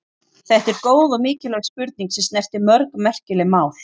Þetta er góð og mikilvæg spurning sem snertir mörg merkileg mál.